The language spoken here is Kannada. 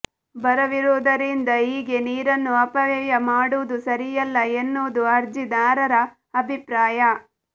ಬರವಿರುವುದರಿಂದ ಹೀಗೆ ನೀರನ್ನು ಅಪವ್ಯಯ ಮಾಡುವುದು ಸರಿಯಲ್ಲ ಎನ್ನುವುದು ಅರ್ಜಿದಾರರ ಅಭಿಪ್ರಾಯ